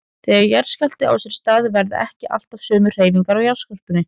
Þegar jarðskjálfti á sér stað verða ekki alltaf sömu hreyfingar á jarðskorpunni.